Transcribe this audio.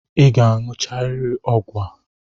I ga-aṅụcharịrị ọgwụ a!